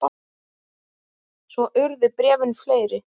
Svo urðu bréfin fleiri.